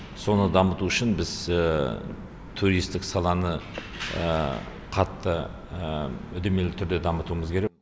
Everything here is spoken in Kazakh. соны дамыту үшін біз туристік саланы қатты үдемелі түрде дамытуымыз керек